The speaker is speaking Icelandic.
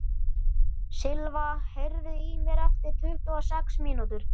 Silva, heyrðu í mér eftir tuttugu og sex mínútur.